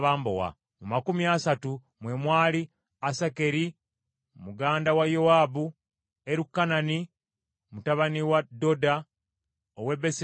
Mu makumi asatu mwe mwali: Asakeri muganda wa Yowaabu, Erukanani mutabani wa Dodo ow’e Besirekemu,